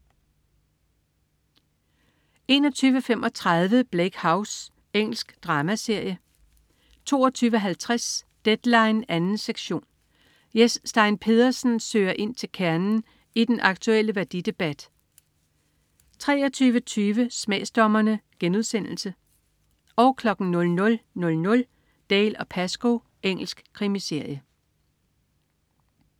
21.35 Bleak House. Engelsk dramaserie 22.50 Deadline 2. sektion. Jes Stein Pedersen søger ind til kernen i den aktulle værdidebat 23.20 Smagsdommerne* 00.00 Dalziel & Pascoe. Engelsk krimiserie